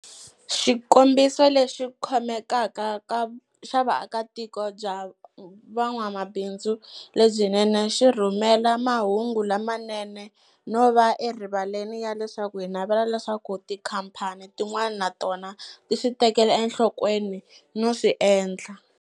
Xikombiso lexi khomekaka xa vuakatiko bya van'wamabindzu lebyinene xi rhumela mahungu lamanene no va erivaleni ya leswaku hi navela leswaku tikhampani tin'wana na tona ti swi tekela enhlokweni no swi endla.